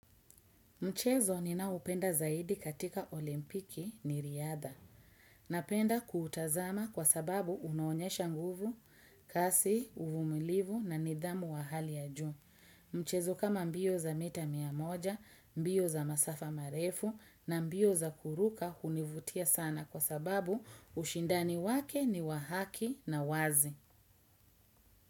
Mchezo ninaoupenda zaidi katika olimpiki ni riadha. Napenda kuutazama kwa sababu unaonyesha nguvu, kasi, uvumilivu na nidhamu wa hali ya juu. Mchezo kama mbio za mita mia moja, mbio za masafa marefu na mbio za kuruka hunivutia sana kwa sababu ushindani wake ni wa haki na wazi.